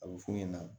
A bɛ f'u ɲɛna